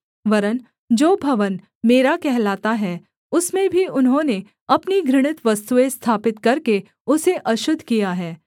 वरन् जो भवन मेरा कहलाता है उसमें भी उन्होंने अपनी घृणित वस्तुएँ स्थापित करके उसे अशुद्ध किया है